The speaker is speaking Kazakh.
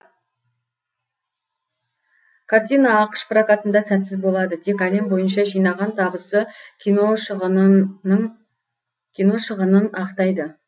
картина ақш прокатында сәтсіз болады тек әлем бойынша жинаған табысы кино шығынын ақтайды